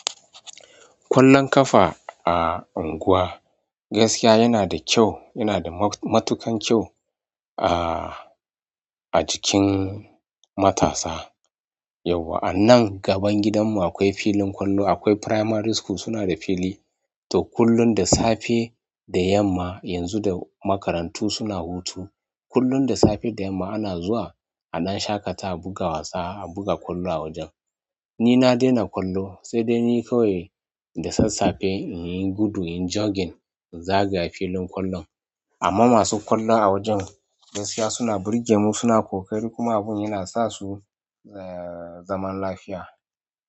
Ƙwallon ƙafa a unguwa, gaskiya yana da kyau, yana da matuƙan kyau a, a jikin matasa. Yauwa anan gaban gidanmu akwai filin ƙwallo, akwai primary school suna da fili. To kullum da safe da yamma yanzu da makarantu suna hutu, kullum da safe da yamma ana zuwa a ɗan shaƙata a buga wasa, a buga ƙwallo a wajen. Ni na daina ƙwallo sai dai ni kawai da sassafe in yi gudu, in yi jogging, in zagaya filin ƙwallon. Amma masu ƙwallo a wajen gaskiya suna burge mu, suna ƙoƙari kuma abun yana sa su zaman lafiya.